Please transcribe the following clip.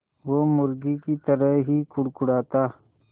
वो मुर्गी की तरह ही कुड़कुड़ाता